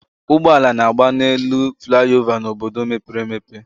Ụgbọala na-agba n'elu flaị ova n'obodo mepere emepe